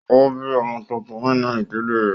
Ó bí ọmọ tuntun nínú ìdílé rẹ̀